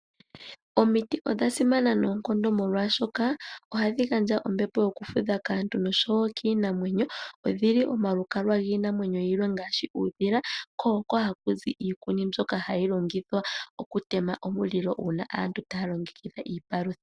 Omiti odha simana noonkondo molwaashoka, ohadhi gandja ombepo yokufudha kaantu noshowo kiinamwenyo. Odhili omalukalwa giinamwenyo yilwe ngaashi uudhila, ko ohakuzi iikuni mbyoka hayi longithwa okutema omulilo uuna aantu taya longekidha iipalutha.